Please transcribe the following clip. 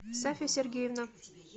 сафя сергеевна